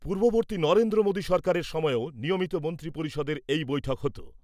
পূর্ববর্তী নরেন্দ্র মোদি সরকারের সময়তেও নিয়মিত মন্ত্রী পরিষদের এই বৈঠক হত ।